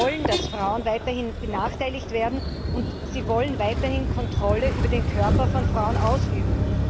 Sie wollen, dass Frauen weiterhin benachteiligt werden und Sie wollen weiterhin Kontrolle über den Körper von Frauen ausüben!